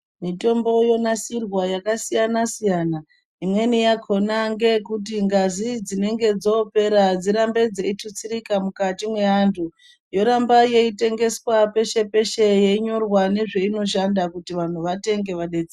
Mitombo yonasirwa yakasiyana-siyana. Imweni yakona ngeyekuti ngazi dzinenge dzoopera dzirambe dzeitutsirika mukati mweanthu. Yoramba yeitengeswa peshe-peshe yeinyorwa nezveinoshanda kuti vantu vatenge.